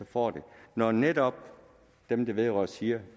får når netop dem det vedrører siger